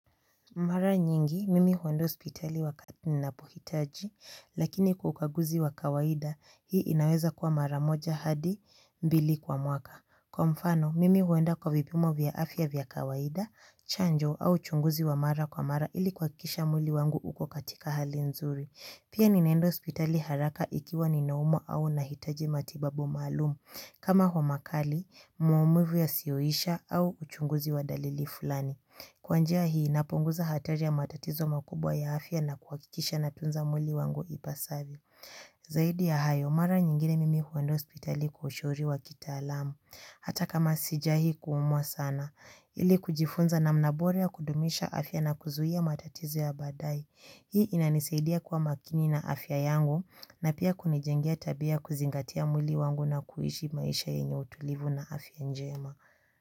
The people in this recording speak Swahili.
Mara nyingi mimi huenda hospitali wakati ninapohitaji lakini kwa ukaguzi wa kawaida inaweza kuwa mara moja au mbili kwa mwaka. Kwa mfano, mimi huenda kwa vipimo vya afya vya kawaida, chanjo, au uchunguzi wa mara kwa mara ili kuhakikisha mwili wangu uko katika hali nzuri. Pia ninaenda hospitali haraka ikiwa ninaumwa au nahitaji matibabu maalumu, kama homa kali, maumivu yasiyoisha au uchunguzi wa dalili fulani. Kwa njia hii, naponguza hatari ya matatizo makubwa ya afya na kuhakikisha natunza mwili wangu ipasavyo. Zaidi ya hayo, mara nyingine mimi huenda hospitali kwa ushauri wa kitaalamu. Hata kama sijahi kuumwa sana. Ili kujifunza namna bora ya kudumisha afya na kuzuia matatizo ya baaadae hii inanisaidia kwa makini na afya yangu na pia kunijengea tabia kuzingatia mwili wangu na kuishi maisha yenye utulivu na afya njema.